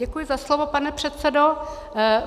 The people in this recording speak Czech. Děkuji za slovo, pane předsedo.